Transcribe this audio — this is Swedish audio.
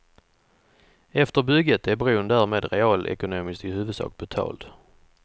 Efter bygget är bron därmed realekonomiskt i huvudsak betald.